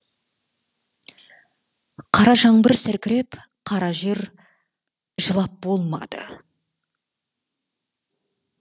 қара жаңбыр сіркіреп қара жер жылап болмады